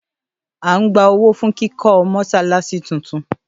À ń gba owó fún kíkọ́ Mọ́ṣáláṣí tún tún